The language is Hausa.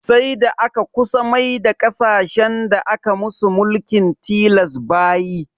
Sai da aka kusa maida ƙasashen da aka musu mulkin tilas bayi